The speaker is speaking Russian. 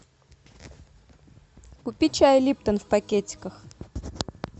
купи чай липтон в пакетиках